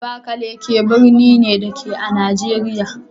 Abakalaki birni ne, da ke a Najeriya